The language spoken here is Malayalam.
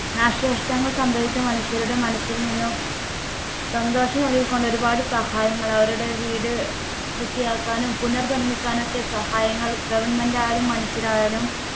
നാശനഷ്ടങ്ങൾ സംഭവിച്ച മനുഷ്യരുടെ മനസ്സിൽ നിന്നും സന്തോഷം നൽകിക്കൊണ്ട് ഒരുപാട് സഹായങ്ങൾ അവരുടെ വീടു വൃത്തിയാക്കാനും പുനർ നിർമ്മിക്കാനും ഒക്കെ സഹായങ്ങൾ goverment ആയാലും മനുഷ്യരായാലും